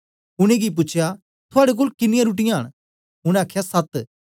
उनेंगी पूछया थुआड़े कोल किनीयां रुट्टीयाँ न उनै आखया सत्त